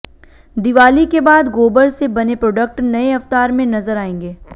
दिवाली के बाद गोबर से बने प्रोडक्ट नए अवतार में नजर आएंगे